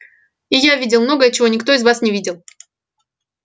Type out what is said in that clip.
и я видел многое чего никто из вас не видел